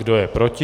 Kdo je proti?